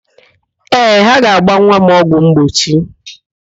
Ee, ha ga-agba nwa m ọgwụ mgbochi.